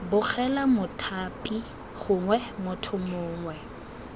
begela mothapi gongwe motho mongwe